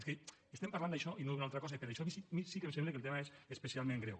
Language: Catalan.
és que estem parlant d’això i no d’un altra cosa i per això a mi sí que em sembla que el tema és especialment greu